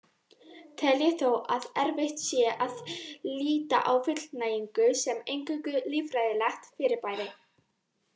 Tel ég þó að erfitt sé að líta á fullnægingu sem eingöngu líffræðilegt fyrirbæri.